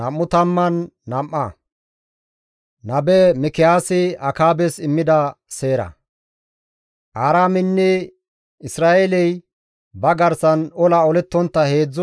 Aaraameynne Isra7eeley ba garsan ola olettontta heedzdzu layth saron de7ida.